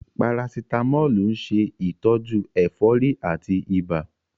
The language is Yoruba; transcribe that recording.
Parasitamọ́ọ̀lù ń ṣe ìtọ́jú ẹ̀fọ́rí àti ibà.